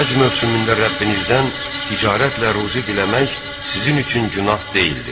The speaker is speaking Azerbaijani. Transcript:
Həcc mövsümündə Rəbbinizdən ticarətlə ruzi diləmək sizin üçün günah deyildir.